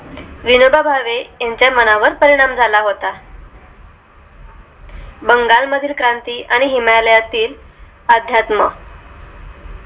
विनोबा भावे यांच्या मनावर परिणाम झाला होता बंगाल मधील क्रांती आणि हिमालया तील अध्यात्म